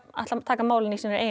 ætla að taka málin í sínar